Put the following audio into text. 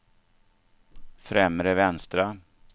främre vänstra